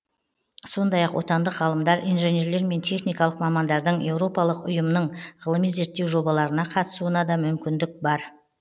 сондай ақ отандық ғалымдар инженерлер мен техникалық мамандардың еуропалық ұйымның ғылыми зерттеу жобаларына қатысуына да мүмкіндік